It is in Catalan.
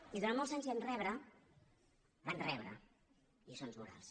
i durant molts anys vam rebre van rebre lliçons morals